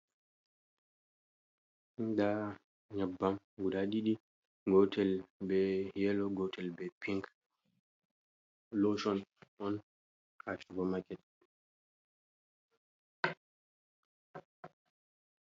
Nda nyebbam guda ɗiɗi. Gotel be yelo, gotel be pink. Loshon on, ha supa maket.